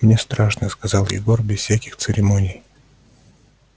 мне страшно сказал егор без всяких церемоний